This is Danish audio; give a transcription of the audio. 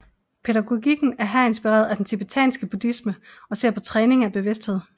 Pædagogikken er her inspireret af den tibetanske buddhisme og ser på træning af bevidsthed